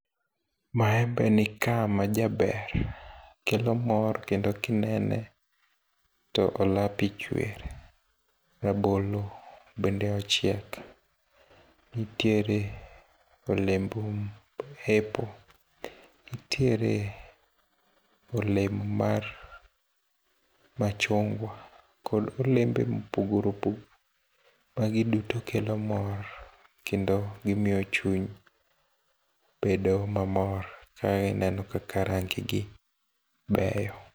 Maembe nika majaber kelo mor kendo kinene to olapi chwer. Rabolo bende ochiek ntiere olemb apple. Ntiere olemb mar machungwa kod olembe mopogore opogore. Magi duto kelo mor kendo gimiyo chuny bedo mamor kagineno kaka rangi gi beyo.